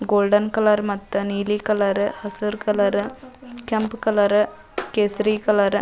Golden colour ಮತ್ತು ನೀಲಿ colour ಹಸಿರು ಕಲರ್ ಕೆಂಪ್ ಕಲರ್ ಕೇಸರಿ ಕಲರ್ .